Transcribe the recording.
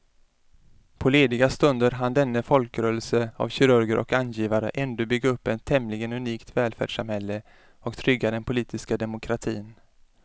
På lediga stunder hann denna folkrörelse av kirurger och angivare ändå bygga upp ett tämligen unikt välfärdssamhälle och trygga den politiska demokratin.